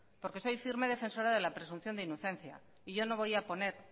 porque soy firme defensora de la presunción de inocencia y yo no voy a poner